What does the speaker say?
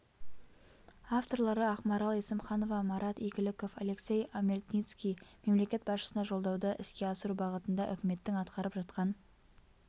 авторлары ақмарал есімханова марат игіліков алексей омельницкий мемлекет басшысына жолдауды іске асыру бағытында үкіметтің атқарып жатқан